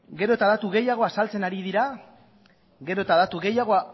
gero eta datu gehiago azaltzen ari dira gero eta datu gehiago